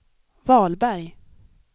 Wahlberg